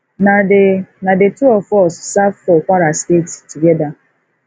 na the na the two of us serve for kwara state together